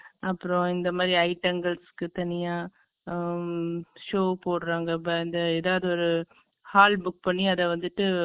அப்புறம் இந்த மாதிரி ஐட்டங்கள்ஸ்க்கு தனியா ம்ம் show போடுறாங்க ஏதாவது ஒரு hall book பண்ணி அதை வந்துட்டு